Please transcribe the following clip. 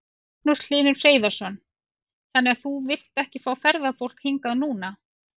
Magnús Hlynur Hreiðarsson: Þannig að þú vilt ekki fá ferðafólk hingað núna?